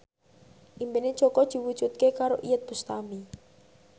impine Jaka diwujudke karo Iyeth Bustami